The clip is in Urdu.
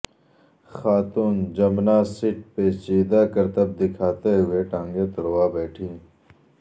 خاتون جمناسٹ پیچیدہ کرتب دکھاتے ہوئے ٹانگیں تڑوا بیٹھیں